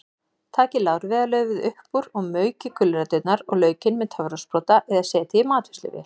Takið lárviðarlaufið upp úr og maukið gulræturnar og laukinn með töfrasprota eða setjið í matvinnsluvél.